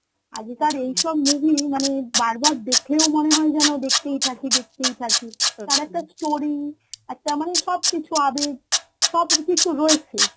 আগেকার এইসব মুভি মানে বারবার দেখলেও মনে হয় যেন দেখতেই থাকি দেখতেই থাকি তার একটা story একটা মানে সবকিছু আবেগ, সবকিছু রয়েছে